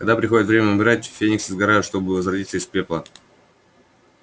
когда приходит время умирать фениксы сгорают чтобы возродиться из пепла